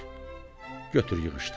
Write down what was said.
heç götür yığışdır!